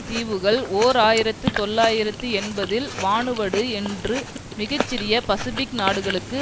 தீவுகள் ஓர் ஆயிரத்து தொள்ளாயிரத்து எண்பதில் வானுவடு என்று மிக சிறிய பசிபிக் நாடுகளுக்கு